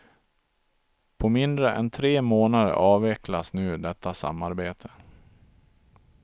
På mindre än tre månader avvecklas nu detta samarbete.